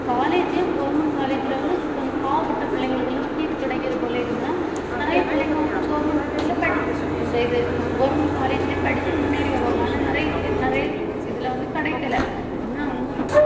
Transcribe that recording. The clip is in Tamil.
college யும் government college ல வந்து கொஞ்சம் பாவப்பட்ட பிள்ளைங்களுக்கு எல்லாம் seat கிடைக்குது போல இருந்ததுன்னா நிறைய பிள்ளைங்க வந்து government school ல படிச்~ இந்த இது government college லயும் படிச்சு முன்னேறி வருவாங்க ஆனா நிறைய பேர் நிறைய இதுல வந்து கிடைக்கல ஆனா அவங்க